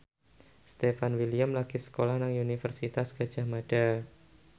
Stefan William lagi sekolah nang Universitas Gadjah Mada